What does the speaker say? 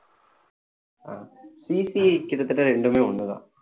ஆஹ் CC கிட்டத்தட்ட இரண்டுமே ஒண்ணுதான்